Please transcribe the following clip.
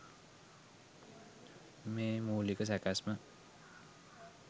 මේ මූලික සැකැස්ම